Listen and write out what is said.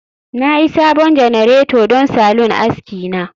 Na sayi sabon janareta don salon aski na